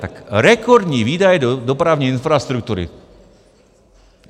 Tak rekordní výdaje do dopravní infrastruktury.